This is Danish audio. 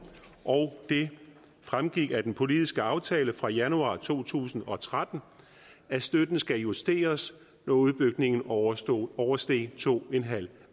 og det fremgik af den politiske aftale fra januar to tusind og tretten at støtten skulle justeres når udbygningen oversteg oversteg to en halv